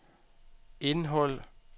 indhold